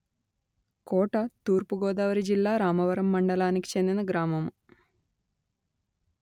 కోట తూర్పు గోదావరి జిల్లా రామవరం మండలానికి చెందిన గ్రామము